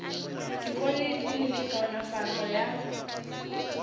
dikolo le dikliniki kaonafatšo ya